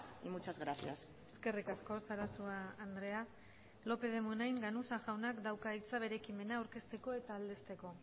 y muchas gracias eskerrik asko sarasua andrea lópez de munain ganuza jaunak dauka hitza bere ekimena aurkezteko eta aldezteko